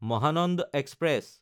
Mahananda express